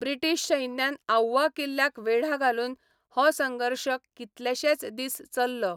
British सैन्यान आऊवा किल्ल्याक वेढा घालून हो संघर्श कितलेशेच दीस चललो.